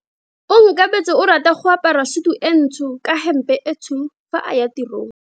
Onkabetse o rata go apara sutu e ntsho ka hempe e tshweu fa a ya tirong.